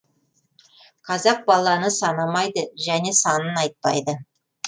қазақ баланы санамайды және санын айтпайды